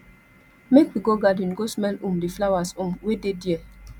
make we go garden go smell um di flowers um wey dey there